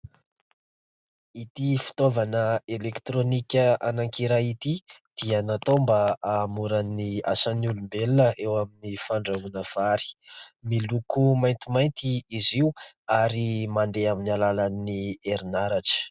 Ity fitaovana elektronika anankiray ity dia natao mba hahamoran'ny asany olombelona eo amin'ny fandrahoana vary, miloko maintimainty izy io ary mandeha amin'ny alalan'ny herinaratra.